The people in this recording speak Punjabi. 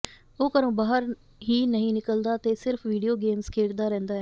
ਉਹ ਘਰੋਂ ਬਾਹਰ ਹੀ ਨਹੀਂ ਨਿਕਲਦਾ ਤੇ ਸਿਰਫ਼ ਵੀਡੀਓ ਗੇਮਜ਼ ਖੇਡਦਾ ਰਹਿੰਦਾ ਹੈ